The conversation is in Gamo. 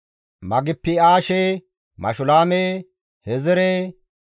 Magipi7aashe, Mashulaame, Hezire,